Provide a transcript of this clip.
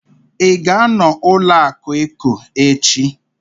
Ị ga-anọ na ụlọaku Eco echi?